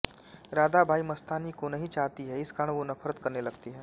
राधाबाई मस्तानी को नहीं चाहती है इस कारण वो नफ़रत करने लगती है